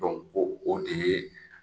o o de ye